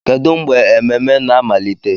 Kedu mgbe ememe na-amalite?